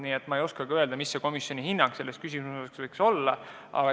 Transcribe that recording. Nii et ma ei oskagi öelda, mis komisjoni hinnang selles küsimuses võiks olla.